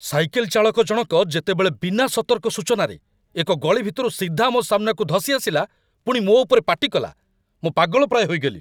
Cycle ଚାଳକ ଜଣକ ଯେତେବେଳେ ବିନା ସତର୍କ ସୂଚନାରେ ଏକ ଗଳି ଭିତରୁ ସିଧା ମୋ ସାମ୍ନାକୁ ଧସି ଆସିଲା, ପୁଣି ମୋ ଉପରେ ପାଟି କଲା, ମୁଁ ପାଗଳ ପ୍ରାୟ ହୋଇଗଲି।